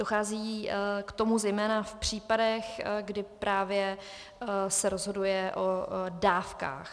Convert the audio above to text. Dochází k tomu zejména v případech, kdy právě se rozhoduje o dávkách.